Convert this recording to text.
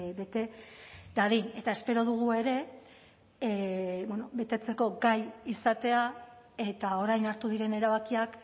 bete dadin eta espero dugu ere betetzeko gai izatea eta orain hartu diren erabakiak